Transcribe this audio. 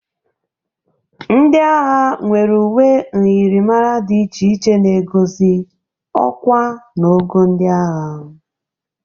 Ndị agha nwere uwe myịrịmara dị iche na egozi ọkwa na ogo ndị agha.